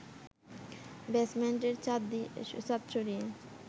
বেজমেন্টের ছাঁদ সরিয়ে